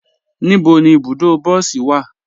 Níbo ni ibùdó bọsí wa?